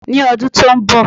Ní ọdún tó n bọ̀